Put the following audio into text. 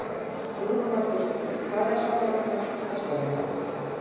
Hugrún Halldórsdóttir: Hvað er svona það flottasta við það?